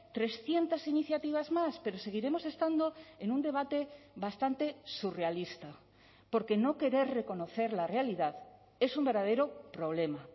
trescientos iniciativas más pero seguiremos estando en un debate bastante surrealista porque no querer reconocer la realidad es un verdadero problema